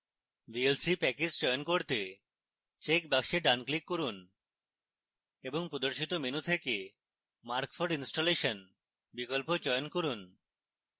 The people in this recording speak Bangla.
vlc package চয়ন করতে check box ডান click করুন